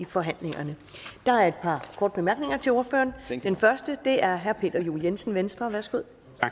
forhandlinger der er et par korte bemærkninger til ordføreren den første er fra herre peter juel jensen venstre værsgo